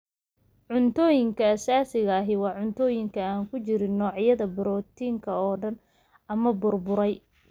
Cuntooyinka asaasiga ahi waa cuntooyin aan ku jirin noocyada borotiinka oo dhan ama burburay.